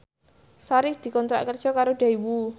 Sari dikontrak kerja karo Daewoo